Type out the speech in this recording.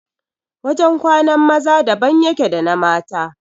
Wajan kwanan maza daban yake da na mata